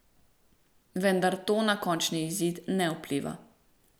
Vendar to na končni izid ne vpliva.